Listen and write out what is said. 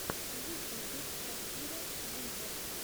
в ютюбе шакира виво